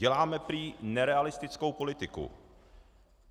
Děláme prý nerealistickou politiku.